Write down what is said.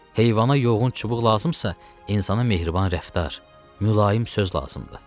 Heyvana yoğun çubuq lazımsa, insana mehriban rəftar, mülayim söz lazımdır.